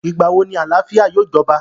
Ìgbà wo ni àlàáfíà yóò jọba?